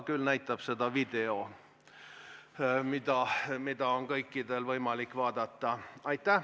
Küll aga näitab seda video, mida on kõikidel võimalik vaadata.